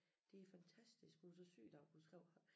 De er fantastiske hun er så syg i dag hun skrev